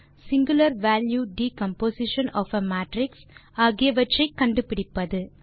singular value decomposition of a matrix ஆகியவற்றை கண்டுபிடிப்பது